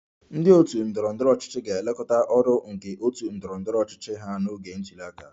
Ndị otu ndọrọ ndọrọ ọchịchị ga-elekọta ọrụ nke otu ndọrọ ndọrọ ọchịchị ha n'oge ntuli aka